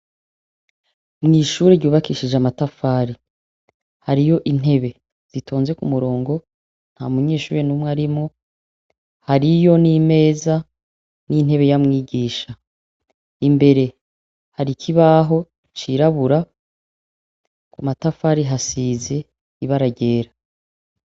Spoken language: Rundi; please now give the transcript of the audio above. Mw'ishuri ryubakishije amatafari, hariyo intebe zitonze k'umurongo, ntamunyeshure n'umwe arimwo, hariyo n'imeza n'intebe ya mwigisha. Imbere hari ikibaho cirabura, kumatafari hasize ibara ryera.